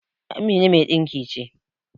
Amina mai dinki ce.